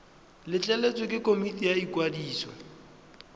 letleletswe ke komiti ya ikwadiso